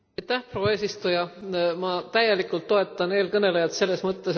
Ma täielikult toetan eelkõnelejat selles mõttes, et me ei tohi järele anda.